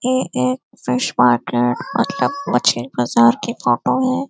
यह एक fish market मतलब मछली बाजार की फोटो है|